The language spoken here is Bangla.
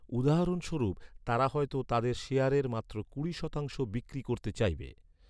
উদাহরণস্বরূপ, তারা হয়তো তাদের শেয়ারের মাত্র কুড়ি শতাংশ বিক্রি করতে চাইবে।